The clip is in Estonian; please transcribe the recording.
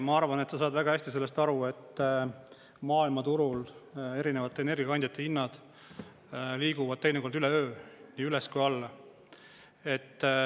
Ma arvan, et sa saad väga hästi sellest aru, et maailmaturul erinevate energiakandjate hinnad liiguvad teinekord üleöö nii üles kui alla.